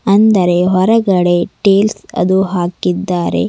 ಅಂದರೆ ಹೊರಗಡೆ ಟೇಲ್ಸ್ ಅದು ಹಾಕಿದ್ದಾರೆ.